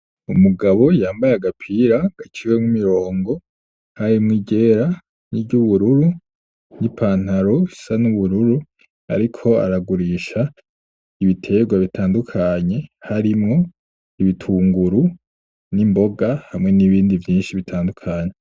Umugabo yambaye agapira gaciwemwo imirongo, harimwo iryera niry'ubururu, n'i "pantalon" isa n'ubururu ariko aragurisha ibitegwa bitandukanye harimwo ibitunguru n'imboga, hamwe n'ibindi vyinshi bitandukanye.